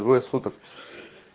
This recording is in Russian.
двое суток